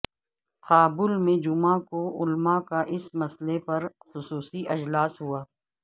کابل میں جمعہ کو علماء کا اس مسئلہ پر خصوصی اجلاس ہوا